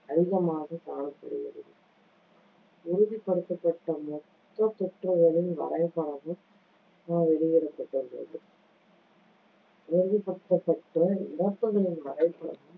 அதிகமாக காணப்படுகிறது. உறுதிப்படுத்தப்பட்ட மொத்தத் தொற்றுகளின் வரைபடமும் வெளியிடப்பட்டிருந்தது உறுதிப்படுத்தப்பட்ட இறப்புகளின் வரைபடம்